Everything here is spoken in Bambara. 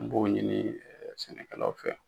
N b'o ɲini sɛnɛkɛlaw fɛ.